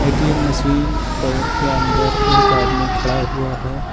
ATM machine प के अंदर एक आदमी खड़ा हुआ है।